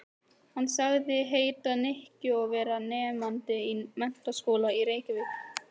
Hann sagðist heita Nikki og vera nemandi í Menntaskólanum í Reykjavík.